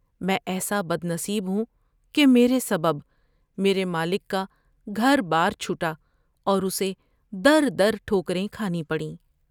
میں ایسا بدنصیب ہوں کہ میرے سبب میرے مالک کا گھر بار چھو ٹااورا سے در در ٹھوکر یں کھانی پڑیں ۔